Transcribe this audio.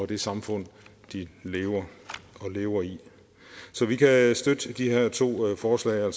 det samfund de lever lever i så vi kan støtte de her to forslag om